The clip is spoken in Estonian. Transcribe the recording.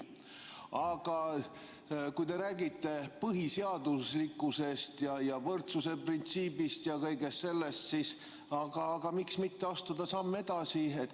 Aga kui te räägite põhiseaduslikkusest ja võrdsuse printsiibist ja kõigest sellest, siis miks mitte astuda samm edasi?